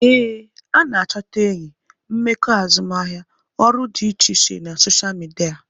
Ee, a na-achọta enyi, mmekọ azụmahịa, ọrụ dị iche iche na soshal midia